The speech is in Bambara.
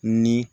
Ni